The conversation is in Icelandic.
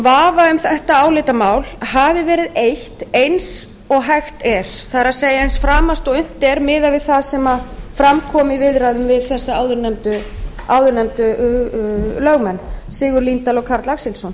vafa um þetta álitamál hafi verið eytt eins og hægt er það er framast og unnt er miðað við það sem fram kom í viðræðum við þess áðurnefndu lögmenn sigurð líndal og karl axelsson